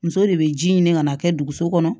Muso de bɛ ji ɲini ka na a kɛ duguso kɔnɔ